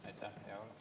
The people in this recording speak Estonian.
Aitäh!